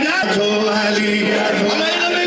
Həyəcanla, həyəcanla.